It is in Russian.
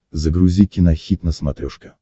загрузи кинохит на смотрешке